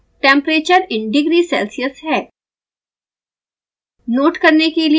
तीसरा graph temperature in degree celsius है